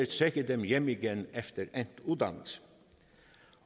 trække dem hjem igen efter endt uddannelse